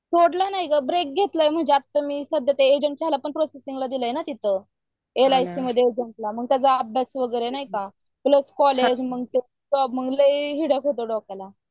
सोडलं नाही ग आता ब्रेक घेतलाय मी म्हणजे एजंटशाहीला पण अर्ज दिलाय ना तिथे प्रोसेस मध्ये आहे. एलआयसी मध्ये एजंटशाहीला म्हणजे त्याचा अभयास वगैरे नाही का प्लस कॉलेज म्हणजे लै हुडक आहे डोक्याला.